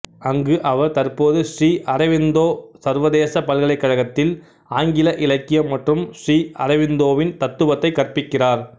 அங்கு அவர் தற்போது ஸ்ரீ அரவிந்தோ சர்வதேச பல்கலைக்கழகத்தில் ஆங்கில இலக்கியம் மற்றும் ஸ்ரீ அரவிந்தோவின் தத்துவத்தை கற்பிக்கிறார்